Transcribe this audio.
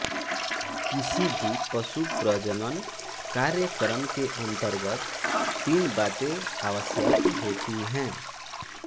किसी भी पशुप्रजनन कार्यक्रम के अंतर्गत तीन बातें आवश्यक होती हैं